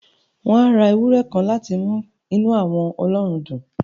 Wọ́n á ra ewúrẹ́ kan láti mú inú àwọn ọlọ́run dùn